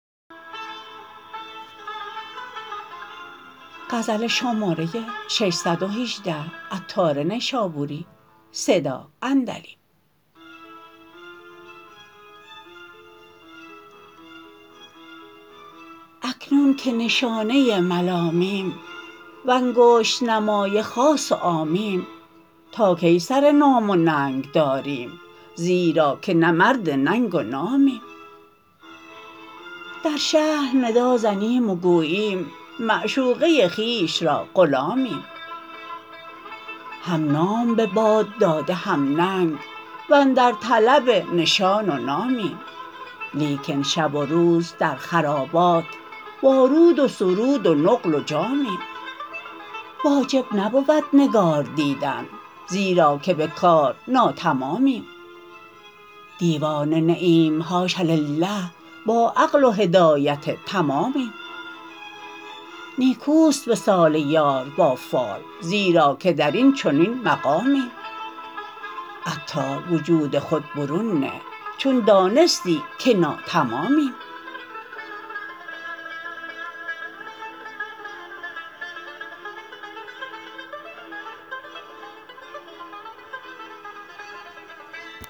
اکنون که نشانه ملامیم وانگشت نمای خاص و عامیم تا کی سر نام و ننگ داریم زیرا که نه مرد ننگ و نامیم در شهر ندا زنیم و گوییم معشوقه خویش را غلامیم هم نام به باد داده هم ننگ واندر طلب نشان و نامیم لیکن شب و روز در خرابات با رود وسرود و نقل و جامیم واجب نبود نگار دیدن زیرا که به کار ناتمامیم دیوانه نه ایم حاش لله با عقل و هدایت تمامیم نیکوست وصال یار با فال زیرا که درین چنین مقامیم عطار وجود خود برون نه چون دانستی که ناتمامیم